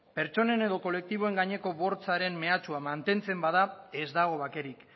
pertsonen edo kolektiboen gaineko bortzaren meatsua mantentzen bada ez dago bakerik